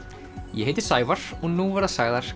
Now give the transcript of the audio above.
ég heiti Sævar og nú verða sagðar